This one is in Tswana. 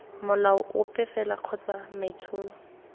molao ope fela kgotsa maitsholo